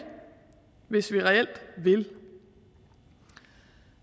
hvis vi reelt vil